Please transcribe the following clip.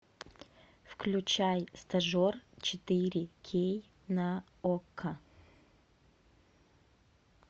включай стажер четыре кей на окко